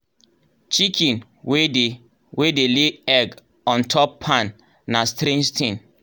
chicken wey dey wey dey lay egg on top pan na strange thing